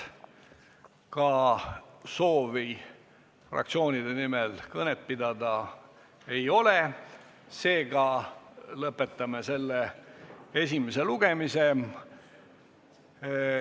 Ka soovi fraktsioonide nimel kõnet pidada ei ole, seega lõpetame esimese lugemise.